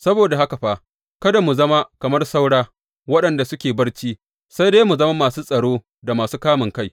Saboda haka fa, kada mu zama kamar saura, waɗanda suke barci, sai dai mu zama masu tsaro da masu kamunkai.